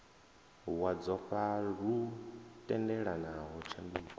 wa dzofha lu tendelaho tshanduko